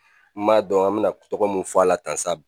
M'a dɔn an bɛna tɔgɔ min fɔ a la tan sa